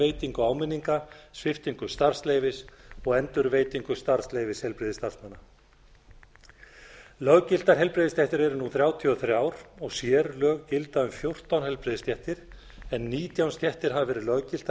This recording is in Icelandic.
veitingu áminninga sviptingu starfsleyfis og endurveitingu starfsleyfis heilbrigðisstarfsmanna löggiltar heilbrigðisstéttir eru nú þrjátíu og þrjú og sérlög gilda um fjórtán heilbrigðisstéttir en nítján stéttir hafa verið löggiltar með